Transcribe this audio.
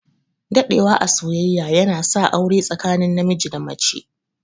Daɗewa a soyyayya yana sa aure tsakanin namiji da mace.